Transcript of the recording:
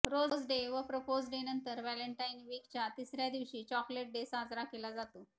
rose day व propose day नंतर valentine वीकच्या तिसऱ्या दिवशी चॅाकलेट डे साजरा केला जातो